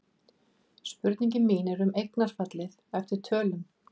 Spurningin mín er um eignarfallið eftir tölum.